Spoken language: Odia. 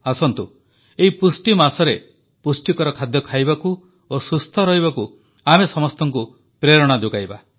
ଆସନ୍ତୁ ଏହି ପୋଷଣ ମାସରେ ପୁଷ୍ଟିକର ଖାଦ୍ୟ ଖାଇବାକୁ ଓ ସୁସ୍ଥ ରହିବାକୁ ଆମେ ସମସ୍ତଙ୍କୁ ପ୍ରେରଣା ଯୋଗାଇବା